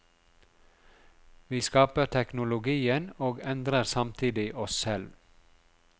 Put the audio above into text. Vi skaper teknologien og endrer samtidig oss selv.